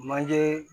Manje